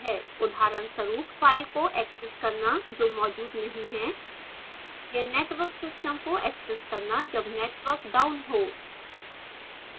उदाहरणस्वरूप: file को access करना जो मौजूद नहीं है या network system को एक्सेस करना जब network down हो